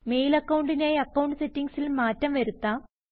mail അക്കൌണ്ടിനായി account സെറ്റിംഗ്സിൽ മാറ്റം വരുത്താം